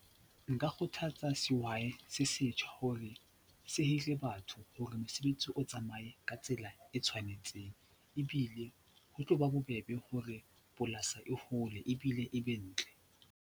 Nka kgothatsa sehwai se setjha hore se hire batho hore mosebetsi o tsamaye ka tsela e tshwanetseng ebile ho tlo ba bobebe hore polasi e hole ebile e be ntle.